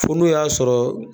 Fo n'o y'a sɔrɔ.